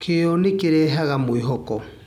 Kĩo nĩ kĩrehaga mwĩhoko.